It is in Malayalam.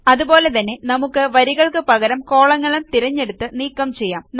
അതുപോലെതന്നെ നമുക്ക് വരികൾക്ക് പകരം കോളങ്ങൾ തിരഞ്ഞെടുത്ത് നീക്കം ചെയ്യാം